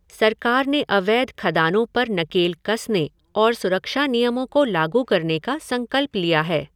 सरकार ने अवैध खदानों पर नकेल कसने और सुरक्षा नियमों को लागू करने का संकल्प लिया है।